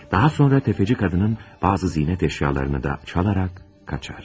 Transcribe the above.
Daha sonra təfəçi qadının bəzi zinət əşyalarını da çalarak qaçır.